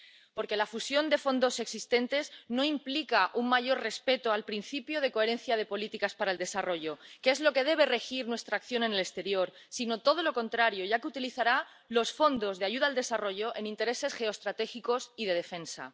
Porque la fusión de fondos existentes no implica un mayor respeto al principio de coherencia de políticas para el desarrollo, que es lo que debe regir nuestra acción en el exterior, sino todo lo contrario, ya que utilizará los fondos de ayuda al desarrollo en intereses geoestratégicos y de defensa.